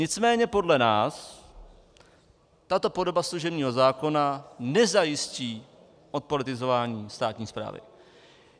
Nicméně podle nás tato podoba služebního zákona nezajistí odpolitizování státní správy.